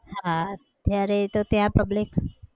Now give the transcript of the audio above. હા અત્યારે તો ત્યાં public